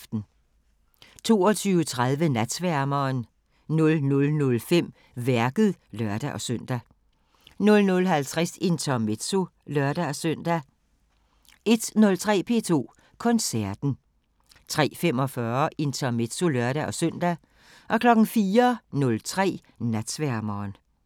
22:30: Natsværmeren 00:05: Værket (lør-søn) 00:50: Intermezzo (lør-søn) 01:03: P2 Koncerten 03:45: Intermezzo (lør-søn) 04:03: Natsværmeren